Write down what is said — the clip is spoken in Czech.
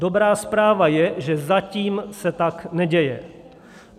Dobrá zpráva je, že zatím se tak neděje.